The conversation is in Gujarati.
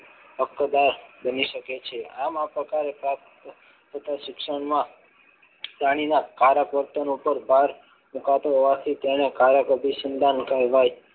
બની શકે છે આમ આ પ્રકારે પ્રાપ્ત થતા શિક્ષણમાં જાણીને કાળા વર્તન ઉપર ભાર મુકાતો હોવાથી તેને કારક વિસમતા કહેવાય છે.